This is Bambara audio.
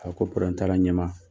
A ko t'a la ɲɛ maa.